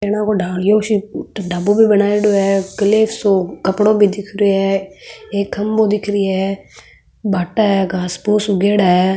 ढाबो भी बनाइडो है किले सो कपड़ो भी दिख रेहो है एक खम्भों दिख रेहो है भाटा है घास फुस उगेडा है।